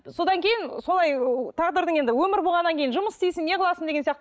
содан кейін солай тағдырдың енді өмір болғаннан кейін жұмыс істейсің неғыласың деген сияқты